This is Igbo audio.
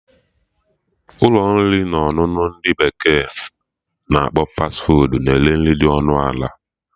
Ụlọ nri na ọṅụṅụ ndị bekee na akpọ 'Fas fuud' na-ere nri dị ọnụ ala